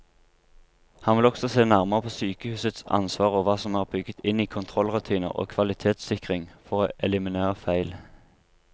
Han vil også se nærmere på sykehusets ansvar og hva som er bygget inn i kontrollrutiner og kvalitetssikring for å eliminere feil.